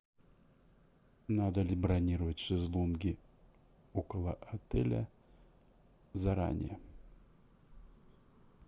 надо ли бронировать шезлонги около отеля заранее